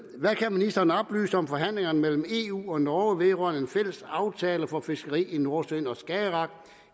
ministeren oplyse om forhandlingerne mellem eu og norge vedrørende en fælles aftale for fiskeri i nordsøen og skagerrak